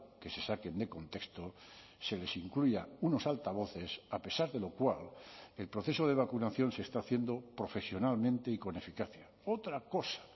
que se saquen de contexto se les incluya unos altavoces a pesar de lo cual el proceso de vacunación se está haciendo profesionalmente y con eficacia otra cosa